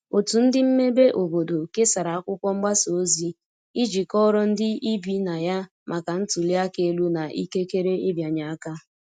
otu ndi mmebe obodo kesara akwụkwo mgbasa ozi iji kọoro ndi ibi na ya maka ntuli aka elu na ikekere ịbịanye aka